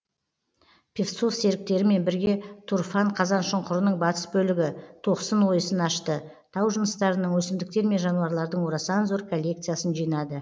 певцов серіктерімен бірге тұрфан қазаншұңқырының батыс бөлігі тоқсын ойысын ашты тау жыныстарының өсімдіктер мен жануарлардың орасан зор коллекциясын жинады